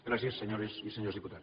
gràcies senyores i senyors diputats